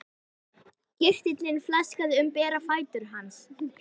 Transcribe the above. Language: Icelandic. Kirtillinn flaksaðist um bera fætur hans.